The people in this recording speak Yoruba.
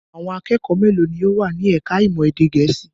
Àwọn akẹ́kọ̀ọ́ mélòó ni ó wà ní ẹ̀ka-ìmọ̀ èdè Gẹ̀ẹ́sì?